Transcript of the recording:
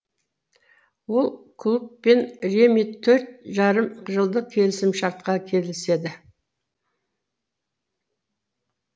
ол клубпен реми төрт жарым жылдық келісім шартқа келіседі